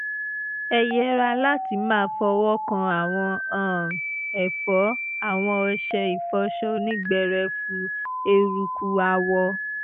ẹ yẹra láti máa fọwọ́ kan àwọn um ẹ̀fọ́ awọn ọṣẹ ìfọṣọ onígbẹrẹfu eruku awọ